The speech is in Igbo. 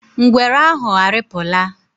Ngwere ahụ arịpụla?